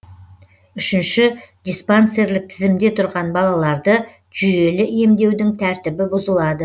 үшінші диспансерлік тізімде тұрған балаларды жүйелі емдеудің тәртібі бұзылады